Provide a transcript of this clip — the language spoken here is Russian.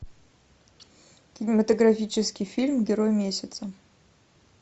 кинематографический фильм герой месяца